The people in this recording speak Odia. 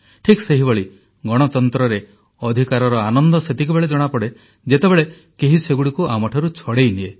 ଠିକ୍ ସେହିଭଳି ଗଣତନ୍ତ୍ରରେ ଅଧିକାରର ଆନନ୍ଦ ସେତିକିବେଳେ ଜଣାପଡ଼େ ଯେତେବେଳେ କେହି ସେଗୁଡ଼ିକୁ ଆମଠାରୁ ଛଡ଼େଇନିଏ